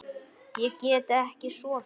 Ég get ekki sofið.